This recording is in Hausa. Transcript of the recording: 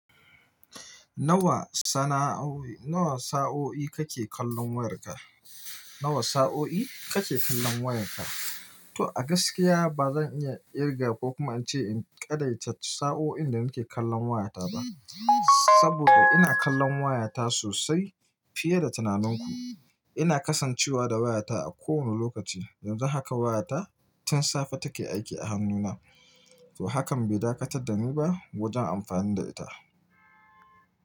Nawa sana'o nawa sa'o'i kake kallon wayarka? Nawa sa'o'i kake kallon wayarka? To a gaskiya ba zan iya kirga ko kuma in ce in kadarce sa'o'in da nake kallon wayata ba. Saboda ina kallon wayata sosai fiye da tunaninku. Ina kasancewa da wayata a kowane lokaci. Yanzu haka wayata tun safe take aiki a hannuna. To hakan bai dakatar da ni ba wajen amfani da ita.